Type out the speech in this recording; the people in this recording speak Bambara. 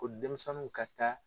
U ni denmisɛnninw ka taa